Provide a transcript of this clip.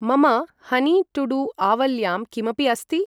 मम honey to do आवल्यां किमपि अस्ति?